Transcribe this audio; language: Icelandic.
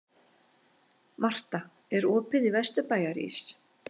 Marta, er opið í Vesturbæjarís?